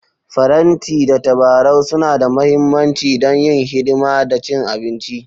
Faranti da tabarau suna da mahimmanci don yin hidima da cin abinci.